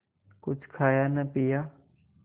कुछ खाया न पिया